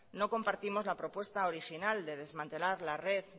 no compartimos la propuesta original de desmantelar la red